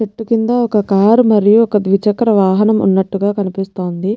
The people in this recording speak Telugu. చెట్టు కింద ఒక్క కార్ మరియు ఒక్కద్విచక్ర వాహనం ఉన్నటుగా కనిపిస్తుంది.